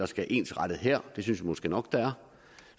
skal ensrettes her det synes vi måske nok der er